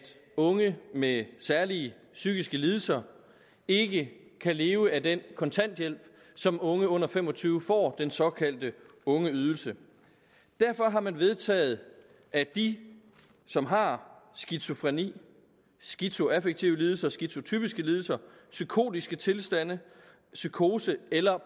unge med særlige psykiske lidelser ikke kan leve af den kontanthjælp som unge under fem og tyve år den såkaldte ungeydelse derfor har man vedtaget at de som har skizofreni skizoaffektive lidelser skizotypiske lidelser psykotiske tilstande psykose eller